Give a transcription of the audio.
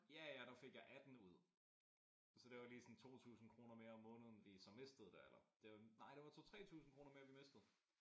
Ja ja der fik jeg 18 ud så det var lige sådan 2000 kroner mere om måneden vi så mistede der eller nej det var 2 3000 kroner mere vi mistede